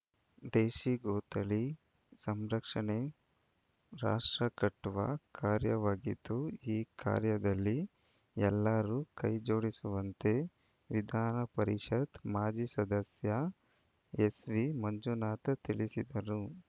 ದೇಶಿ ಗೋ ತಳಿ ಸಂರಕ್ಷಣೆ ರಾಷ್ಟ್ರಕಟ್ಟುವ ಕಾರ್ಯವಾಗಿದ್ದು ಈ ಕಾರ್ಯದಲ್ಲಿ ಎಲ್ಲರೂ ಕೈಜೋಡಿಸುವಂತೆ ವಿಧಾನಪರಿಷತ್‌ ಮಾಜಿ ಸದಸ್ಯ ಎಸ್‌ವಿಮಂಜುನಾಥ್‌ ತಿಳಿಸಿದರು